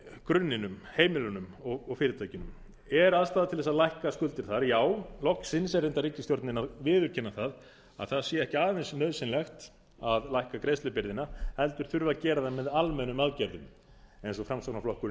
grunninum heimilunum og fyrirtækjunum er aðstaða til að álíka skuldir þar já loksins er reyndar ríkisstjórnin að viðurkenna að það sé ekki aðeins nauðsynlegt að lækka greiðslubyrðina heldur þurfi að gera það með almennum aðgerðum eins og framsóknarflokkurinn